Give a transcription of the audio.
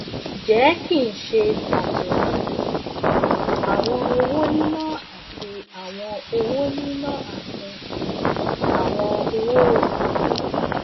jẹ ki n ṣe pato um awọn owo nina ati owo nina ati um awọn owoiworo um